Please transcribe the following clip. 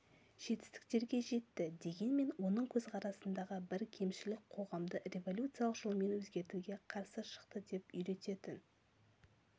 жетістіктерге жетті дегенмен оның көзқарасындағы бір кемшілік қоғамды революциялық жолмен өзгертуге қарсы шықты деп үйрететін